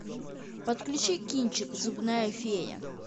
подключи кинчик зубная фея